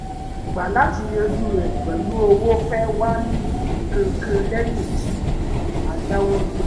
èròǹgbà láti yanjú rẹ̀ pẹ̀lú owó fẹ́ẹ̀ wá ní kánkán lẹ́yìn tí a dáwọ́ dúró